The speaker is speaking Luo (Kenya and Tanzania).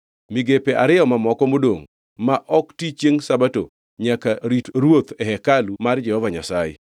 Migepe ariyo mamoko modongʼ ma ok ti chiengʼ Sabato nyaka rit ruoth e hekalu mar Jehova Nyasaye.